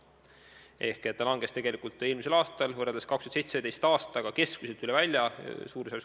See kahanes eelmisel aastal võrreldes 2017. aastaga keskmiselt 8%.